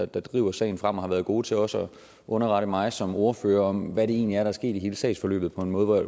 der driver sagen fremad og været gode til også at underrette mig som ordfører om hvad det egentlig er der er sket i hele sagsforløbet på en måde